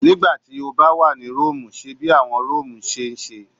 Nigbati o ba wa ni Romu, ṣe bi awọn Romu ṣe